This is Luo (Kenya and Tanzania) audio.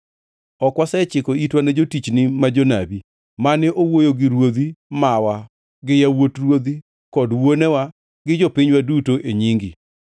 Ok wasechiko itwa ne jotichni ma jonabi mane owuoyo gi ruodhi mawa gi yawuot ruodhi kod wuonewa, gi jopinywa duto, e nyingi.